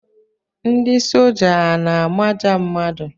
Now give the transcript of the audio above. Ndị soja a na-amaja mmadụ?